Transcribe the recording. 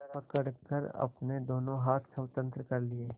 पकड़कर अपने दोनों हाथ स्वतंत्र कर लिए